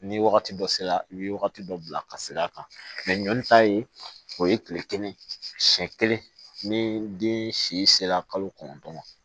Ni wagati dɔ sera i bɛ wagati dɔ bila ka se a kan ɲɔn ta ye o ye tile kelen siɲɛ kelen ni den si sera kalo kɔnɔntɔn ma